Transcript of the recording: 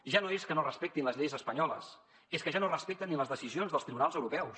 ja no és que no respectin les lleis espanyoles és que ja no respecten ni les decisions dels tribunals europeus